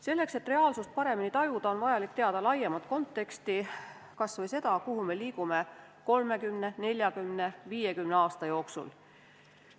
Selleks, et reaalsust paremini tajuda, on vaja teada laiemat konteksti, kas või seda, kuhu me liigume 30, 40, 50 aasta jooksul.